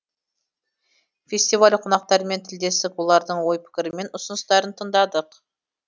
фестиваль қонақтарымен тілдестік олардың ой пікірі мен ұсыныстарын тыңдадық